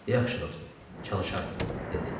Yaxşı, dostum, çalışaram, dedi.